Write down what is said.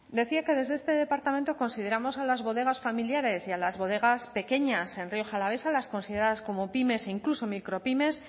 decía que desde este departamento consideramos a las bodegas familiares y a las bodegas pequeñas en rioja alavesa las consideradas como pymes e incluso micropymes